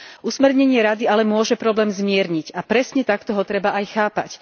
Usmernenie Rady ale môže problém zmierniť a presne takto ho treba aj chápať.